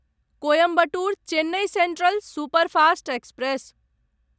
Coimbatore Chennai central superfast express